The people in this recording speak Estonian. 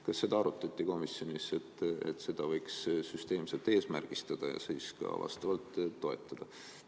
Kas komisjonis arutati, et selle võiks süsteemselt eesmärgistada ja seda ka vastavalt toetada?